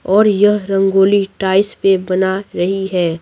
और यह रंगोली टाइल्स पे बना रही है।